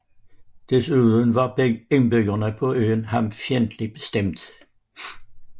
Desuden var indbyggerne på øen ham fjendtligt stemt